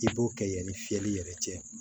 I b'o kɛ yani fiyɛli yɛrɛ cɛ